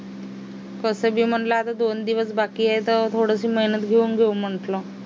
कसबे म्हणला आता दोन दिवस बाकी आहे तर थोडीशी मेहनत घेऊन घेऊ म्हटलं